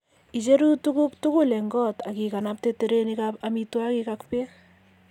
Icheru tuguk tugul eng koot ak iganabte terenikab amitwogik ak beek.